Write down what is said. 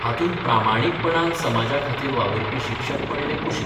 हातूंत प्रामाणीकपणान समाजाखातीर वाबुरपी शिक्षक पडले कुशीक.